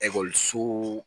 Ekɔliso